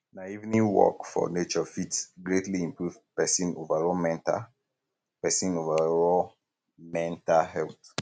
um na evening walk for nature fit greatly improve pesin overall mental pesin overall mental health